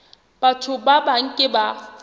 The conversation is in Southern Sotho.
batho ba bang ke ba